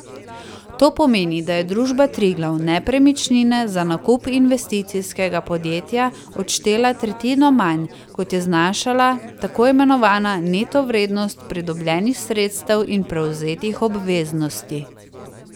To pomeni, da je družba Triglav nepremičnine za nakup Investicijskega podjetja odštela tretjino manj, kot je znašala tako imenovana neto vrednost pridobljenih sredstev in prevzetih obveznosti.